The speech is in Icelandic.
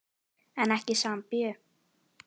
En ekki í Sambíu.